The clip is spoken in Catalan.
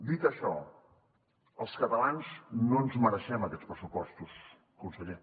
dit això els catalans no ens mereixem aquests pressupostos conseller